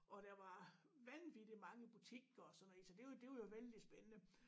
Og der var vanvittig mange butikker og sådan noget ik så det det var jo vældig spændende